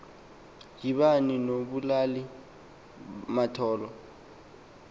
yibani nobulali mathol